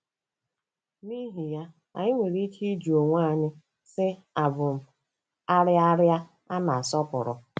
N'ihi ya, anyị nwere ike ịjụ onwe anyị, sị: 'Àbụ m 'arịa 'arịa a na-asọpụrụ'?